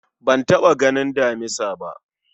Ban taɓa ganin damisa ba